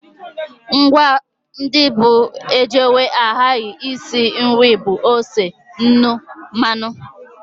Ngwa ndị bụ ejewe ahaghị n'isi nri bụ ose, nnu, mmanụ